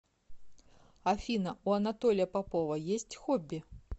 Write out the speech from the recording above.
афина у анатолия попова есть хобби